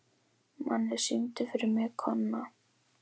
Manni, syngdu fyrir mig „Kona“.